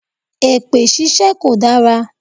Èpè ṣíṣe kò dára.